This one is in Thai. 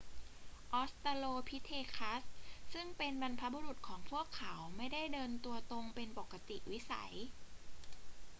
ออสตราโลพิเธคัสซึ่งเป็นบรรพบุรุษของพวกเขาไม่ได้เดินตัวตรงเป็นปกติวิสัย